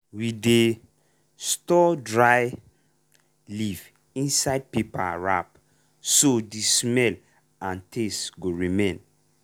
we dey store dry leaf inside paper wrap so the smell and taste go remain.